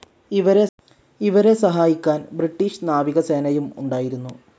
ഇവരെ സഹായിക്കാൻ ബ്രിട്ടീഷ് നാവികസേനയും ഉണ്ടായിരുന്നു.